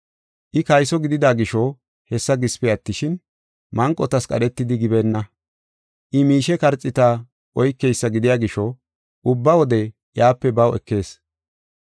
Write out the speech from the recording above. I kayso gidida gisho hessa gisipe attishin, manqotas qadhetidi gibeenna. I miishe karxiita oykeysa gidiya gisho ubba wode iyape baw ekees.